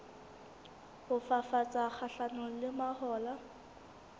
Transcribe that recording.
ho fafatsa kgahlanong le mahola